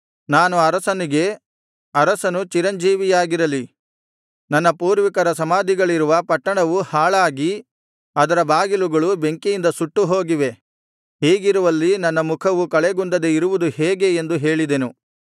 ನಾನು ಅರಸನಿಗೆ ಅರಸನು ಚಿರಂಜೀವಿಯಾಗಿರಲಿ ನನ್ನ ಪೂರ್ವಿಕರ ಸಮಾಧಿಗಳಿರುವ ಪಟ್ಟಣವು ಹಾಳಾಗಿ ಅದರ ಬಾಗಿಲುಗಳು ಬೆಂಕಿಯಿಂದ ಸುಟ್ಟು ಹೋಗಿವೆ ಹೀಗಿರುವಲ್ಲಿ ನನ್ನ ಮುಖವು ಕಳೆಗುಂದದೆ ಇರುವುದು ಹೇಗೆ ಎಂದು ಹೇಳಿದೆನು